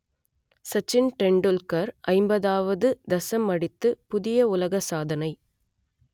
சச்சின் டெண்டுல்கர் ஐம்பதுவது தசம் அடித்து புதிய உலக சாதனை